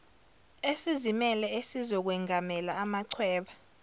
esizimele esizokwengamela amachweba